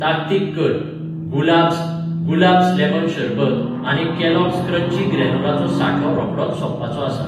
ताकतीक कर, गुलाब्स, गुलाब्स लेमन शरबत आनी कॅलॉग्स क्रंची ग्रानोलाचो सांठो रोखडोच सोंपपाचो आसा.